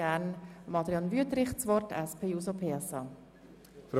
Ich möchte nicht mehr viel sagen.